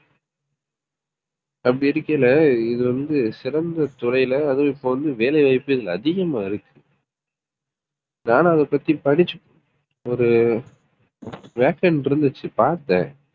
அப்படி இருக்கையில இது வந்து சிறந்த துறைல அதுவும் இப்ப வந்து வேலைவாய்ப்பே இதுல அதிகமா இருக்கு. நானும் அதை பத்தி படிச்சு ஒரு vacant இருந்துச்சு பார்த்தேன்